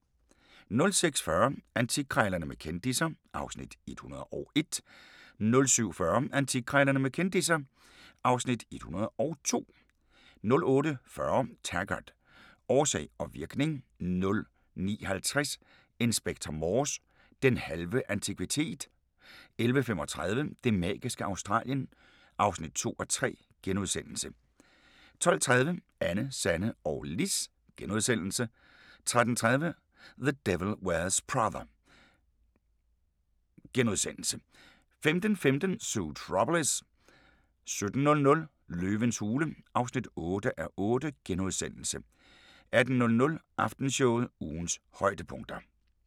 06:40: Antikkrejlerne med kendisser (Afs. 101) 07:40: Antikkrejlerne med kendisser (Afs. 102) 08:40: Taggart: Årsag og virkning 09:50: Inspector Morse: Den halve antikvitet 11:35: Det magiske Australien (2:3)* 12:30: Anne, Sanne og Lis * 13:30: The Devil Wears Prada * 15:15: Zootropolis 17:00: Løvens hule (8:8)* 18:00: Aftenshowet – ugens højdepunkter